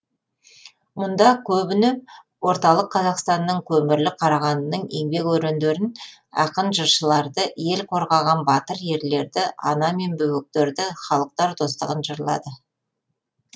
мұнда көбіне орталық қазақстанның көмірлі қарағандының еңбек өрендерін ақын жыршыларды ел қорғаған батыр ерлерді ана мен бөбектерді халықтар достығын жырлады